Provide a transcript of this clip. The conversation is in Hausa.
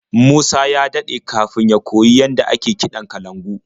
Musa ya daɗe kafin ya koyi yadda ake kiɗan kalangu.